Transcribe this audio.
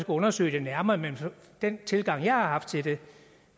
undersøge det nærmere men den tilgang jeg har haft til det